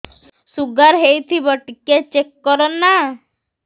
sugar ହେଇଥିବ ଟିକେ check କର ନା